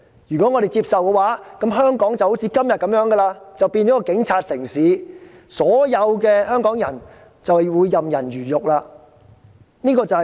如果我們接受，香港便會繼續像今天般淪為警察城市，所有香港人便會任人魚肉。